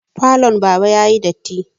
Falon baba yayi datti